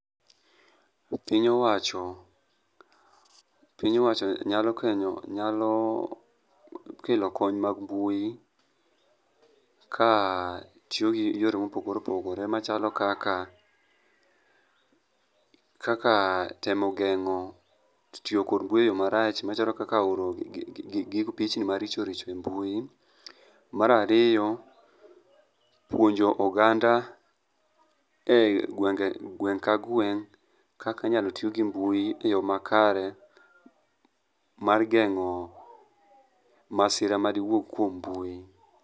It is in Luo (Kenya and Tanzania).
Piny owacho piny owachonyalo kelo kony mag mbui ka tiyo gi yore mopogore opogore machalo kaka, temo geng'o tiyo kod mbui e yo marach machalo kaka oro pichni maricho richo e mbui. Mar ariyo, puonjo oganda e gweng' ka gweng' kaka inyalo ti gi mbui e yo makare mar geng'o masira madiwuog kuom mbui.